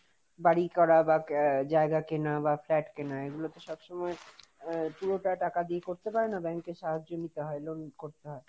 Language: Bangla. বাড়ি করা বা জায়গা কেনা বা flat কেনা এগুলো তো সব সময় পুরোটা টাকা দিয়ে করতে পারে না, bank এর সাহায্য নিতে হয় লোন করতে হয়।